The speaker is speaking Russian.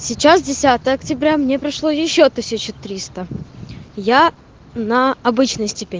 сейчас десятое октября мне пришло ещё тысячи триста я на обычной